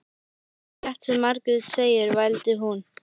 Það er alveg rétt sem Margrét segir, vældi hún.